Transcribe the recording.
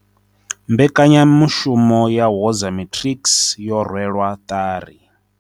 Mbekanyamushumo ya Woza Matrics yo rwelwa ṱari.